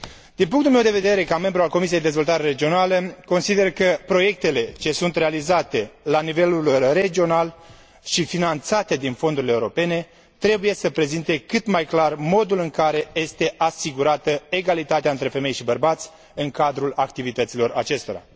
Din punctul meu de vedere, ca membru al Comisiei pentru dezvoltare regională, consider că proiectele ce sunt realizate la nivel regional și finanțate din fondurile europene trebuie să prezinte cât mai clar modul în care este asigurată egalitatea între femei și bărbați în cadrul activităților acestora.